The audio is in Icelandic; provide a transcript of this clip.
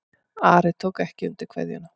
Ari tók ekki undir kveðjuna.